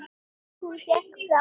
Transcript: Hún gekk fram.